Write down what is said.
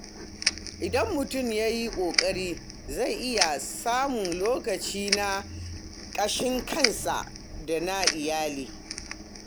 Idan mutum ya yi ƙoƙari, zai iya samun lokaci na ƙashin kansa da na iyali.